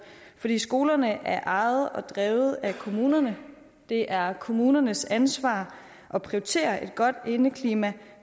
fordi skolerne er ejet og drevet af kommunerne det er kommunernes ansvar at prioritere et godt indeklima